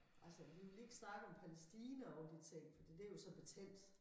Altså vi vil ikke snakke om Palæstina og de ting fordi det jo så betændt